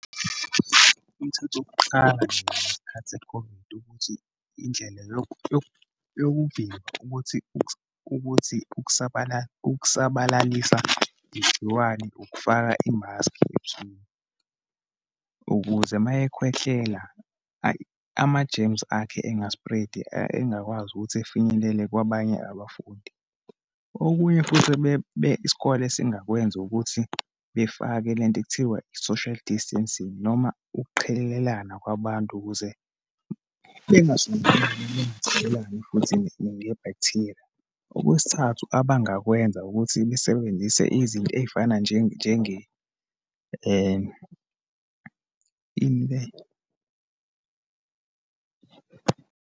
Umthetho wokuqala nje ngesikhathi se-COVID, ukuthi indlela yokuvimba ukuthi ukuthi ukusabalalisa igciwane ukufaka imaski ebusweni, ukuze uma ekhwehlela ayi, ama-germs akhe enga-spread-i engakwazi ukuthi efinyelele kwabanye abafundi. Okunye futhi isikole esingakwenza, ukuthi befake lento ekuthiwa i-social distancing, noma ukuqhelelana kwabantu ukuze bengasondelani, bengathelelani futhi nge-bacteria. Okwesithathu abangakwenza, ukuthi basebenzise izinto eyifana . Ini le?